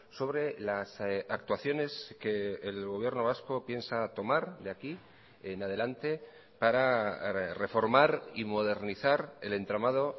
sobre las actuaciones que el gobierno vasco piensa tomar de aquí en adelante para reformar y modernizar el entramado